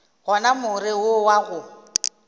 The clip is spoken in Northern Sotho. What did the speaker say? gona more wo wa go